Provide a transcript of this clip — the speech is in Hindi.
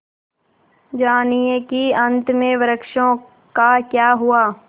जानिए कि अंत में वृक्षों का क्या हुआ